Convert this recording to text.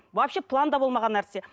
вообще планда болмаған нәрсе